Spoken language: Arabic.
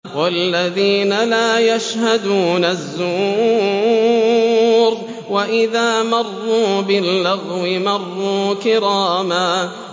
وَالَّذِينَ لَا يَشْهَدُونَ الزُّورَ وَإِذَا مَرُّوا بِاللَّغْوِ مَرُّوا كِرَامًا